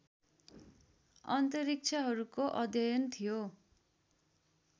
अन्तरिक्षहरूको अध्ययन थियो